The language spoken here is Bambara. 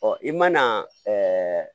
i mana ɛɛ